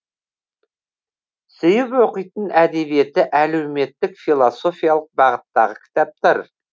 сүйіп оқитын әдебиеті әлеуметтік философиялық бағыттағы кітаптар